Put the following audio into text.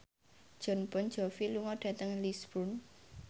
Jon Bon Jovi lunga dhateng Lisburn